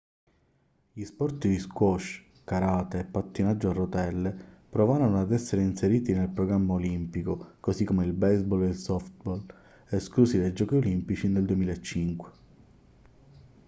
gli sport di squash karate e pattinaggio a rotelle provarono ad essere inseriti nel programma olimpico così come il baseball e il softball esclusi dai giochi olimpici nel 2005